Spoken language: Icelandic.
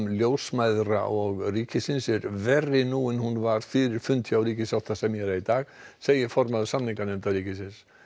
ljósmæðra og ríkisins er verri nú en hún var fyrir fund þeirra hjá ríkissáttasemjara í dag segir formaður samninganefndar ríkisins